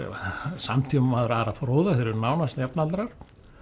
samtímamaður Ara fróða þeir eru nánast jafnaldrar